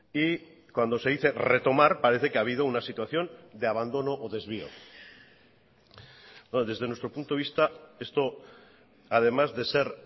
y cuando se dice retomar parece que ha habido una situación de abandono o desvío desde nuestro punto de vista esto además de ser